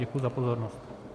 Děkuji za pozornost.